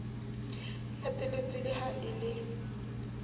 latetswe le ha e le